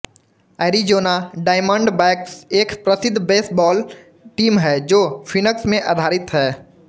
Arizona Diamondbacks एक प्रसिद्ध baseball team है जो फ़िनक्स में आधारित है